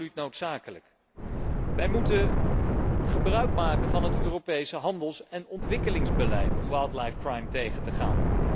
Absoluut noodzakelijk. We moeten gebruik maken van het Europese handels en ontwikkelingsbeleid om wildlife crime tegen te gaan.